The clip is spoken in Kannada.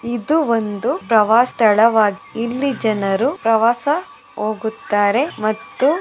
ಇದು ಒಂದು ಪ್ರವಸ್ಥಳವಾಗಿದೆ ಇಲ್ಲಿ ಜನರು ಪ್ರವಾಸ ಹೋಗುತ್ತಾರೆ ಮತ್ತು --